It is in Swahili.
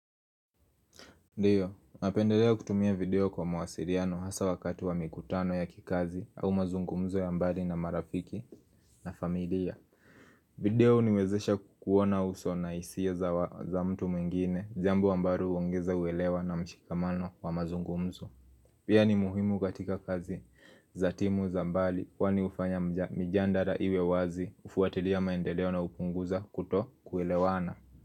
Ndiyo, napendelea kutumia video kwa mawasiriano hasa wakati wa mikutano ya kikazi au mazungumzo ya mbali na marafiki na familia. Video uniwezesha kukuona uso na isio za mtu mwengine, jambo ambalo uongeza uelewa na mshikamano wa mazungumzo. Pia ni muhimu katika kazi za timu za mbali kwa ni ufanya mjandara iwe wazi ufuatilia maendeleo na upunguza kuto kuelewana.